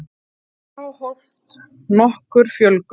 þá hófst nokkur fjölgun